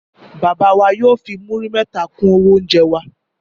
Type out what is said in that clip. Bàbá wa yóò fi múrí mẹ́ta kún owó oúnjẹ wa